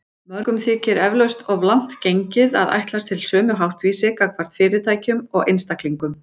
Mörgum þykir eflaust of langt gengið að ætlast til sömu háttvísi gagnvart fyrirtækjum og einstaklingum.